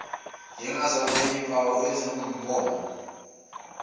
njengazona zimpawu ezingumongo